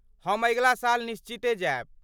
हम अगिला साल निश्चिते जायब।